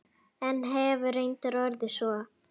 En hefur reyndin orðið svo?